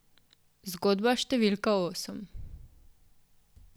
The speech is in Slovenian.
Zgodba številka osem.